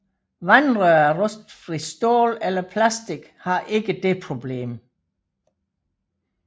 Vandrør af rustfrit stål eller plastik har ikke det problem